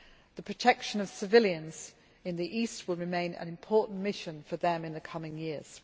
The protection of civilians in the east will remain an important mission for them in the coming years.